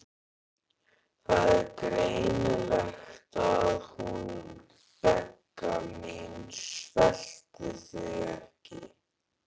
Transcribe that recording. Það er greinilegt að hún Begga mín sveltir þig ekki.